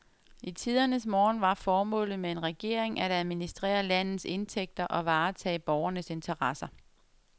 I tidernes morgen var formålet med en regering at administrere landets indtægter og varetage borgernes interesser.